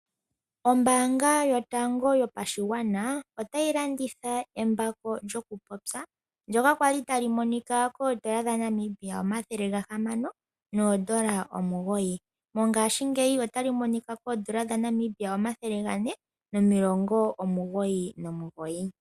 Ombanga yotango yopashigwana otayi landitha embako lyokupopya, ndyoka kwali tali monika koondola dha Namibia omathele gahamano noondola omugoyi, mongashingeyi otali monika koondola dha Namibia omathele gane nomilongo omugoyi nomugoyi.